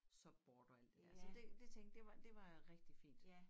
Subboard og alt det dér så det det tænkte det var det var rigtig fint